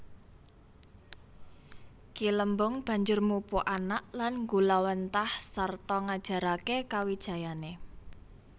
Ki Lembong banjur mupu anak lan nggulawentah sarta ngajaraké kawijayané